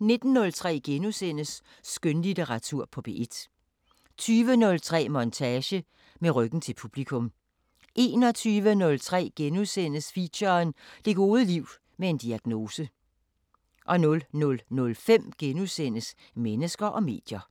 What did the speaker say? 19:03: Skønlitteratur på P1 * 20:03: Montage: Med ryggen til publikum 21:03: Feature: Det gode liv med en diagnose * 00:05: Mennesker og medier *